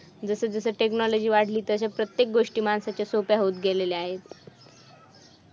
जसा जसा technology वाढली तसं प्रत्येक गोष्टी माणसाच्या सोप्या होत गेलेल्या आहेत